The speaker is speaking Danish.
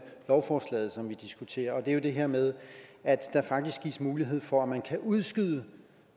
lovforslaget som vi diskuterer og det er det her med at der faktisk gives mulighed for at man kan udskyde